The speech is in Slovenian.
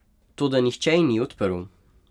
Toda nihče ji ni odprl.